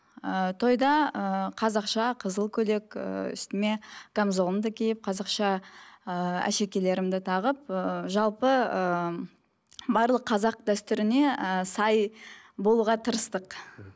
ііі тойда ыыы қазақша қызыл көйлек ііі үстіме камзолымды киіп қазақша ыыы әшекейлерімді тағып ыыы жалпы ыыы барлық қазақ дәстүріне ііі сай болуға тырыстық